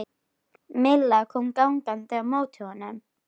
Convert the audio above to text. Milla kom gangandi á móti honum.